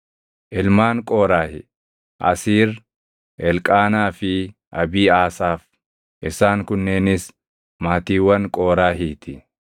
Ilmaan Qooraahi: Asiir, Elqaanaa fi Abiiʼaasaaf. Isaan kunneenis maatiiwwan Qooraahii ti.